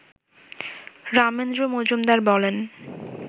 রামেন্দ্র মজুমদার বলেন